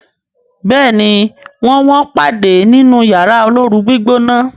béèni wón wón pade nínú Yàrá olóoru-gbígbóná.